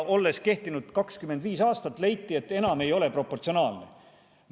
Olles kehtinud aastat, leiti, et enam ei ole see proportsionaalne.